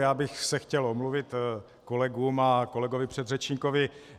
Já bych se chtěl omluvit kolegům a kolegovi předřečníkovi.